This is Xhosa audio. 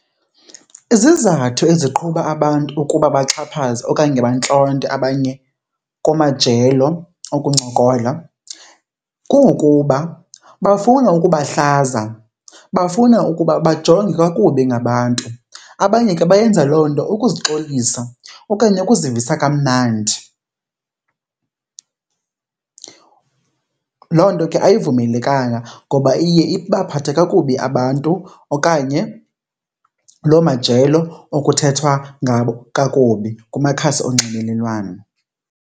Izizathu eziqhuba abantu ukuba baxhaphaze okanye bantlonte abanye kumajelo okuncokola kungokuba bafuna ukubahlaza, bafuna ukuba bajongwe kakubi ngabantu, abanye ke bayenza loo nto ukuzixolisa okanye ukuzivisa kamnandi. Loo nto ke ayivumelekanga ngoba iye ibaphathe kakubi abantu okanye loo majelo okuthethwa ngabo kakubi kumakhasi onxibelelwano.